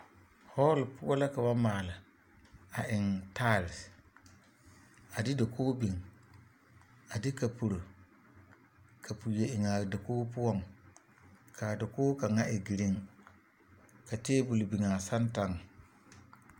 Hɔɔle poɔ la ka ba maale a eŋ taesere a de dakogi biŋ a kapuri kapri eŋ a dakogi poɔŋ ka a dakogi kaŋa e girin ka tabol biŋ a santaŋ.